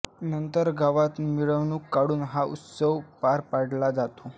नंतर गावात मिरवणूक काढून हा उत्सव पार पाडला जातो